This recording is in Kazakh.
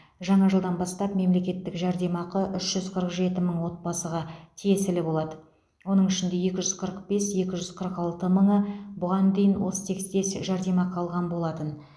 жаңа жылдан бастап мемлекеттік жәрдемақы үш жүз қырық жеті мың отбасыға тиесілі болады оның ішінде екі жүз қырық бес екі жүз қырық алты мыңы бұған дейін осы тектес жәрдемақы алған болатын